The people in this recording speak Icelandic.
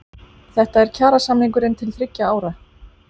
Þetta er kjarasamningurinn til þriggja ára